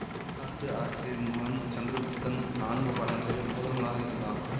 வரலாற்று ஆசிரியரின் மகன் சந்திரகுப்தன் நான்கு பாடங்களில் முதல்வனாக இருந்தான்